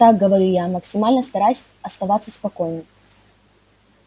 так говорю я максимально стараясь оставаться спокойной